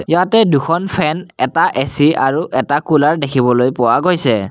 ইয়াতে দুখন ফেন এটা এ_চি আৰু এটা কুলাৰ দেখিবলৈ পোৱা গৈছে।